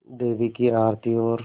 देवी की आरती और